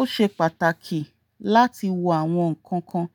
Ó ṣe pàtàkì láti wo àwọn nǹkan kan